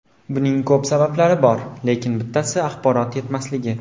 Buning ko‘p sabablari bor, lekin bittasi axborot yetmasligi.